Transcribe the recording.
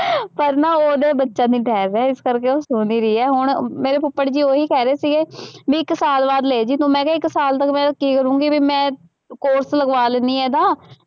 ਪਰ ਨਾ ਉਦੋਂ ਬੱਚਾ ਨਹੀਂ ਠਹਿਰਦਾ ਇਸ ਕਰਕੇ ਉਹ ਸ਼ੂੰਦੀ ਨਹੀਂ ਹੈ, ਹੁਣ ਮੇਰੇ ਫੁੱਫੜ ਜੀ ਉਹੀ ਕਹਿ ਰਹੇ ਸੀਗੇ, ਬਈ ਇੱਕ ਸਾਲ ਬਾਅਦ ਲੈ ਜਾਈਂ ਤੂੰ, ਮੈਂ ਕਿਹਾ ਇੱਕ ਸਾਲ ਤੱਕ ਮੈਂ ਦੱਸ ਕੀ ਕਰੂੰਗੀ, ਮੈਂ ਕੋਰਸ ਲਗਵਾ ਲੈਂਦੀ ਹਾਂ ਇਹਦਾ